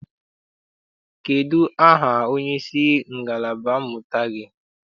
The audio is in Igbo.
Kedụ aha onyeisi ngalaba mmụta gị?